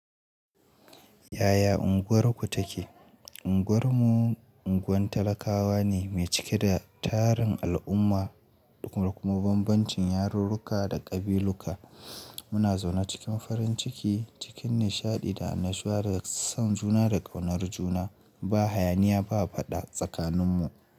Yaya unguwarku take? Unguwar mu unguwar talakawa ne mai cike da tarin al'umma da kuma bambancin yarurruka da kabiluka. Muna zaune cikin farin ciki cikin nishaɗi da annashuwa da son juna da ƙaunar juna. Ba hayaniya ba fada tsakaninmu.